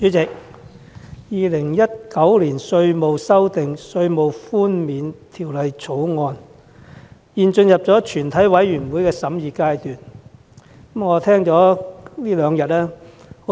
主席，《2019年稅務條例草案》現進入全體委員會審議階段，我這兩天聽了很多發言。